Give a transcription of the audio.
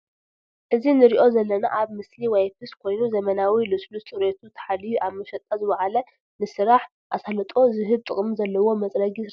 እዚ ንሪኦ ዘለና ኣብ ምስሊ ዋይፕስ ኮይኑ ዝምናዊ ሉስሉስ ፅርየቱ ተሓልዩሉ ኣብ መሽጣ ዝወዓለ ንስራሕ ኣሳልጦ ዝህብ ጥቅሚ ዘለዎ መፅረጊ ርስሓት እዩ ።